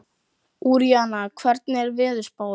Úranía, hvernig er veðurspáin?